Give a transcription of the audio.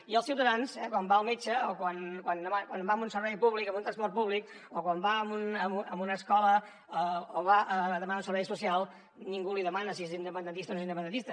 i al ciutadà eh quan va al metge o quan va a un servei públic o en un transport públic o quan va a una escola o va a demanar un servei social ningú li demana si és independentista o no independentista